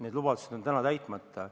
Need lubadused on täna täitmata.